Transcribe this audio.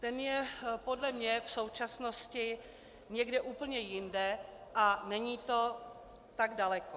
Ten je podle mě v současnosti někde úplně jinde a není to tak daleko.